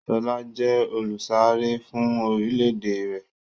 Sọlá jẹ olùsáré fún orílédé rẹ̀.